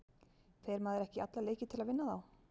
Fer maður ekki í alla leiki til að vinna þá?